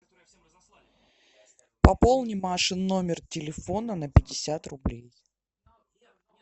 пополни машин номер телефона на пятьдесят рублей